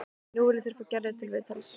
Nú vilja þeir fá Gerði til viðtals.